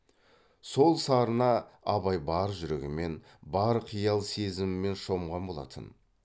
сол сарына абай бар жүрегімен бар қиял сезімімен шомған болатын